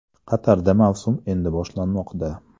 Qatarda mavsum endi boshlanmoqda.